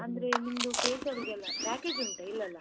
ಅಂದ್ರೆ ನಿಮ್ದು facial ಲ್ಲ package ಉಂಟಾ ಇಲ್ಲಲ್ಲ?